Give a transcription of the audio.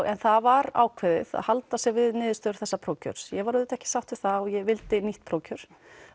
en það var ákveðið að halda sig við niðurstöðu þessa prófkjörs ég var auðvitað ekki sátt við það og ég vildi nýtt prófkjör